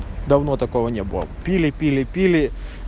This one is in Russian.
давно такого не было пили пили пили